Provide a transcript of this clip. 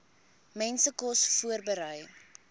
mense kos voorberei